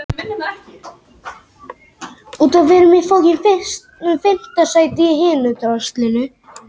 Skuldir þjóðarbúsins mun hærri